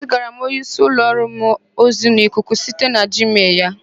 Ezigara m onyeísí m n'ụlọ ọrụ ozi n'ikuku site na jiimel ya.